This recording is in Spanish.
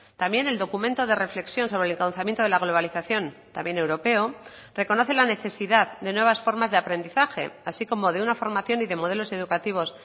también el documento de reflexión sobre el encauzamiento de la globalización también europeo reconoce la necesidad de nuevas formas de aprendizaje así como de una formación y de modelos educativos